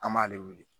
An b'ale wele